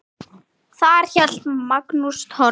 Þar hélt Magnús Torfi